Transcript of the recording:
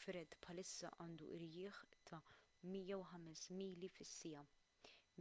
fred bħalissa għandu irjieħ ta’ 105 mili fis-siegħa